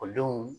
Ekɔlidenw